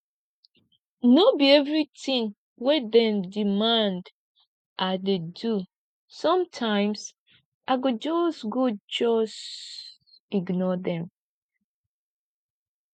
no be everytin wey dem demand i dey do sometimes i go just go just ignore dem